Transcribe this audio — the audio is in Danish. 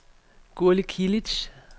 Gurli Kilic